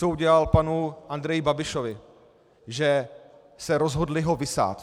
Co udělal panu Andreji Babišovi, že se rozhodli ho vysát.